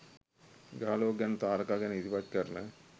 ග්‍රහලෝක ගැන තාරකා ගැන ඉදිරිපත් කරන